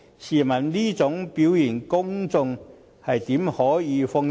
試問這種表現，公眾又怎能安心？